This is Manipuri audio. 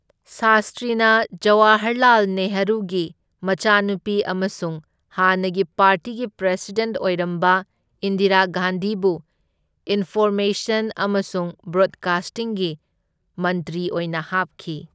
ꯁꯥꯁꯇ꯭ꯔꯤꯅ ꯖꯋꯥꯍꯔꯂꯥꯜ ꯅꯦꯍꯔꯨꯒꯤ ꯃꯆꯥꯅꯨꯄꯤ ꯑꯃꯁꯨꯡ ꯍꯥꯟꯅꯒꯤ ꯄꯥꯔꯇꯤꯒꯤ ꯄ꯭ꯔꯦꯁꯤꯗꯦꯟꯠ ꯑꯣꯏꯔꯝꯕ ꯏꯟꯗꯤꯔꯥ ꯒꯥꯟꯙꯤꯕꯨ ꯏꯟꯐꯣꯔꯃꯦꯁꯟ ꯑꯃꯁꯨꯡ ꯕ꯭ꯔꯣꯠꯀꯥꯁꯇꯤꯡꯒꯤ ꯃꯟꯇ꯭ꯔꯤ ꯑꯣꯏꯅ ꯍꯥꯞꯈꯤ꯫